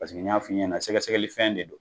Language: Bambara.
Paseke n y'a f'i ɲɛna sɛgɛsɛgɛli fɛn de don.